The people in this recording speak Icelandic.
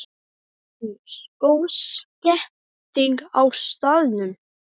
Magnús: Góð stemning á staðnum?